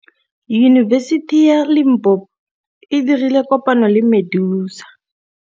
Yunibesiti ya Limpopo e dirile kopanyô le MEDUNSA.